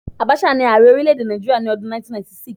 Abacha ni Ààrẹ orílẹ̀-èdè Nàìjíríà ní ọdún 1996.